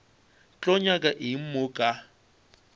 tlo nyaka eng mo ka